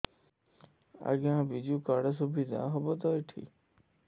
ଆଜ୍ଞା ବିଜୁ କାର୍ଡ ସୁବିଧା ହବ ତ ଏଠି